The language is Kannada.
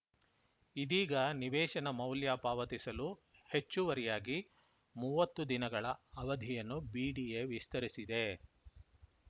ಇದೀಗ ನಿವೇಶನ ಮೌಲ್ಯ ಪಾವತಿಸಲು ಹೆಚ್ಚುವರಿಯಾಗಿ ಮೂವತ್ತು ದಿನಗಳ ಅವಧಿಯನ್ನು ಬಿಡಿಎ ವಿಸ್ತರಿಸಿದೆ